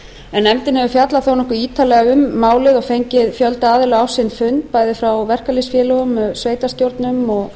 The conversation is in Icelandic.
en nefndin hefur fjallað þó nokkuð ítarlega um málið og fengið fjölda aðila á sinn fund bæði frá verkalýðsfélögum sveitarstjórnum og